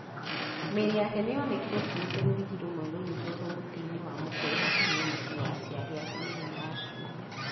Mĩĩrĩ yake nĩ yonekire ĩkuĩte rũrigi rũmwe rũnyitĩtwo mũtĩ-inĩ wa mũkũyũ hakuhĩ na mũciĩ wa aciari ake mũthenya wa Kiumia.